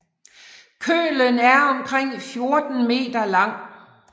Kølen er omkring 14 m lang